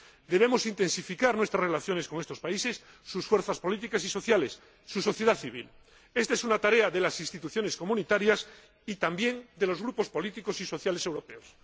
debemos intensificar nuestras relaciones con estos países, sus fuerzas políticas y sociales, su sociedad civil esta es una tarea de las instituciones comunitarias y también de los grupos políticos y sociales europeos.